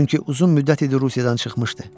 Çünki uzun müddət idi Rusiyadan çıxmışdı.